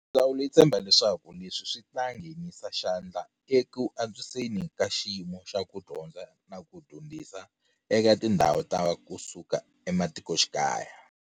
Ndzawulo yi tshemba leswaku leswi swi ta ngheni sa xandla eku antswiseni ka xiyimo xa ku dyondza na ku dyondzisa eka tindhawu ta kusuka ematikoxikaya.